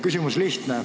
Küsimus on lihtne.